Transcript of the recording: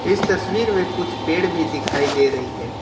इस तस्वीर में कुछ पेड़ भी दिखाई दे रही है।